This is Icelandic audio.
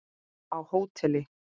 Á hóteli?